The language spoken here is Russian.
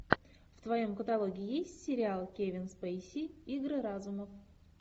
в твоем каталоге есть сериал кевин спейси игры разумов